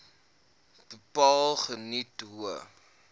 bepaal geniet hoë